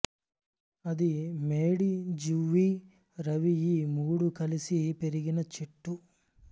అది మేడి జువ్వి రావి ఈ మూడూ కలిసి పెరిగిన చెట్టు